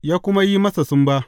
Ya kuma yi masa sumba.